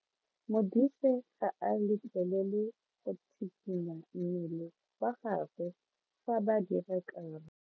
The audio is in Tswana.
Modise ga a letlelelwa go tshikinya mmele wa gagwe fa ba dira karo.